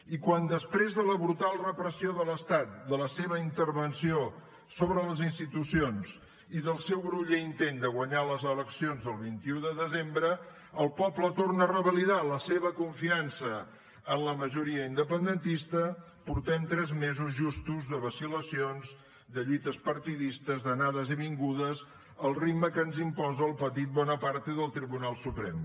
i quan després de la brutal repressió de l’estat de la seva intervenció sobre les institucions i del seu groller intent de guanyar les eleccions del vint un de desembre el poble torna a revalidar la seva confiança en la majoria independentista portem tres mesos justos de vacil·lacions de lluites partidistes d’anades i vingudes al ritme que ens imposa el petit bonaparte del tribunal suprem